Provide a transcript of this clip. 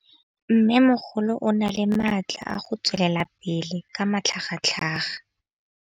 Mmêmogolo o na le matla a go tswelela pele ka matlhagatlhaga.